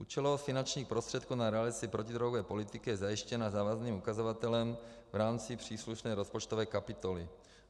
Účelovost finančních prostředků na realizaci protidrogové politiky je zajištěna závazným ukazatelem v rámci příslušné rozpočtové kapitoly.